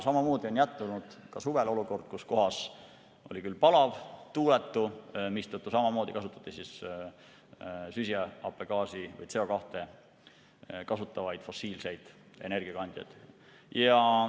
Suvel jätkus olukord, kus oli palav ja tuuletu, mistõttu samamoodi kasutati CO2 tekitavaid fossiilseid energiakandjaid.